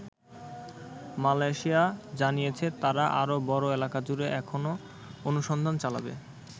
Malaysia জানিয়েছে তারা আরো বড় এলাকজুড়ে এখন অনুসন্ধান চালাবে।